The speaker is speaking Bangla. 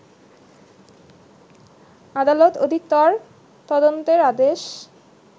আদালত অধিকতর তদন্তের আদেশ